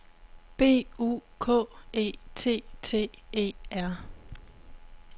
B U K E T T E R